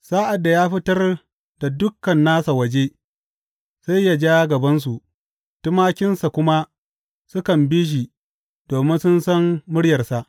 Sa’ad da ya fitar da dukan nasa waje, sai ya ja gabansu, tumakinsa kuma sukan bi shi domin sun san muryarsa.